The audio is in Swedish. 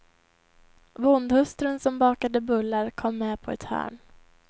Bondhustrun som bakade bullar kom med på ett hörn.